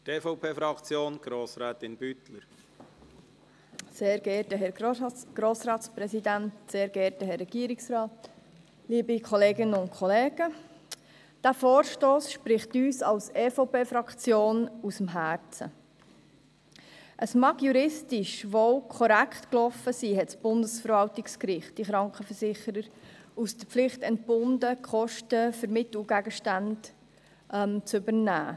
Juristisch mag es wohl korrekt gelaufen sein, als das Bundesverwaltungsgericht die Krankenversicherer von der Pflicht entband, die Kosten für Mittel und Gegenstände zu übernehmen.